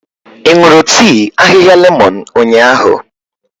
Ị ṅụrụ tii ahịhịa lemon ụnyahụ?